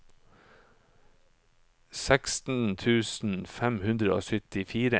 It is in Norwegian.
seksten tusen fem hundre og syttifire